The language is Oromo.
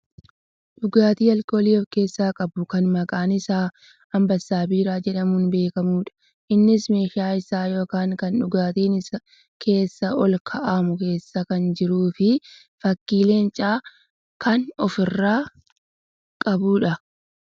Dhugaatii aalkoolii of keessaa qabu kan maqaan isaa Ambessaa Biiraa jedhamuun beekkamudha. Innis meeshaa isaa yookaan kan dhugaatiin keessa ol kaawwaamu keessa kan jiruufi fakkii leencaa kan of irraa qabudha.